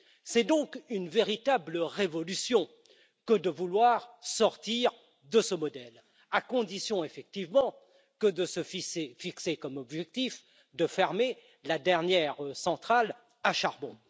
C'est donc une véritable révolution que de vouloir sortir de ce modèle, à condition effectivement de se fixer comme objectif de fermer la dernière centrale à charbon.